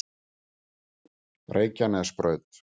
Reykjanesbraut